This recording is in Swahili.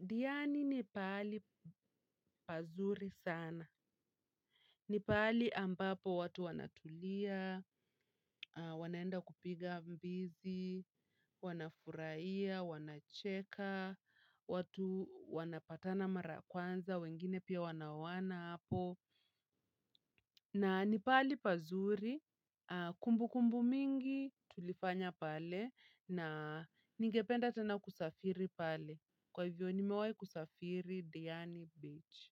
diani ni pali pazuri sana. Ni pali ambapo watu wanatulia, wanaenda kupiga mbizi, wanafuraia, wanacheka, watu wanapatana mara kwanza, wengine pia wanawona hapo. Na nipali pazuri, kumbu kumbu mingi tulifanya pale na ningependa tena kusafiri pale. Kwa hivyo nimewahi kusafiri Diani Beach.